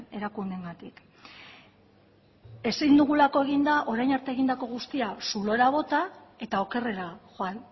erakundeengatik ezin dugulako egin da orain arte egindako guztia zulora bota eta okerrera joan